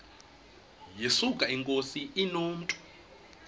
yesuka inkosi inomntu